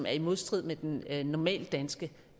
er i modstrid med den normale danske